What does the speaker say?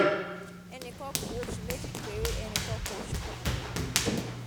ẹnì kan ku oṣù méjì peere ẹnì kan ku oṣù kan ààbọ̀